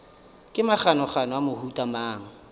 ke maganogano a mohuta mang